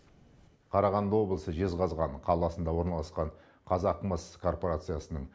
қарағанды облысы жезқазған қаласында орналасқан қазақмыс корпорациясының